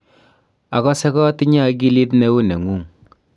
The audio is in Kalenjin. akose katinye akilit neu nengung.